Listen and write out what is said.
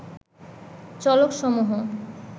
চলক সমূহ